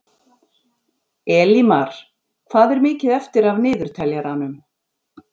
Elimar, hvað er mikið eftir af niðurteljaranum?